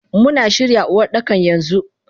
Muna shirya Uwardaka yanxu.